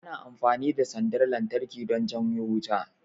Ana amfani da sandar lantarki don janyo wuta